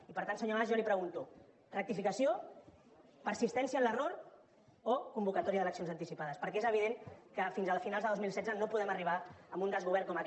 i per tant senyor mas jo li pregunto rectificació persistència en l’error o convocatòria d’eleccions anticipades perquè és evident que fins a finals de dos mil setze no podem arribar amb un desgovern com aquest